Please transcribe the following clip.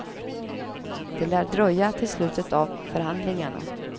Det lär dröja till slutet av förhandlingarna.